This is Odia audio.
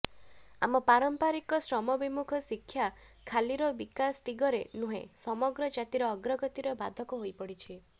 ଆମ ପାରମ୍ପରିକ ଶ୍ରମବିମୁଖ ଶିକ୍ଷା ଖାଲିର ବିକାଶ ଦିଗରେ ନୁହେଁ ସମଗ୍ର ଜାତିର ଅଗ୍ରଗତିର ବାଧକ ହୋଇପଡିଛି